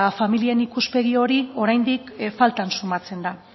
familien ikuspegi hori oraindik faltan sumatzen da